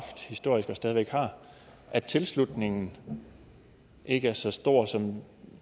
at tilslutningen ikke er så stor som